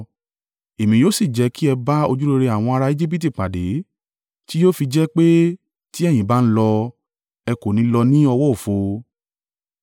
“Èmi yóò sì jẹ́ kí ẹ bá ojúrere àwọn ará Ejibiti pàdé. Tí yóò fi jẹ́ pé ti ẹ̀yin bá ń lọ, ẹ kò ní lọ ní ọwọ́ òfo.